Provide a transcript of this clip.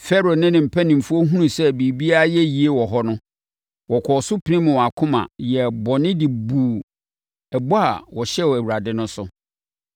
Farao ne ne mpanimfoɔ hunuu sɛ biribiara ayɛ yie wɔ hɔ no, wɔkɔɔ so pirim wɔn akoma yɛɛ bɔne de buu ɛbɔ a wɔhyɛɛ Awurade no so.